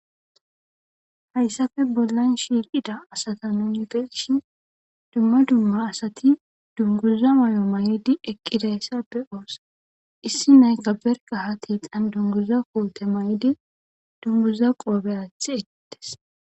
Hayissappe bollani eqidda assata nuni beyishini....duma duma assati dunguza mala mayyiddi eqidatissa beyossi issi na'ayikka ha sinithani barikka dunguza mayidi dunguza kote athisi